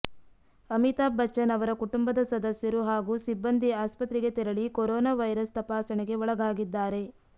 ಅಮಿತಾಬ್ ಬಚ್ಚನ್ ಅವರ ಕುಟುಂಬದ ಸದಸ್ಯರು ಹಾಗೂ ಸಿಬ್ಬಂದಿ ಆಸ್ಪತ್ರೆಗೆ ತೆರಳಿ ಕೊರೊನಾ ವೈರಸ್ ತಪಾಸಣೆಗೆ ಒಳಗಾಗಿದ್ದಾರೆ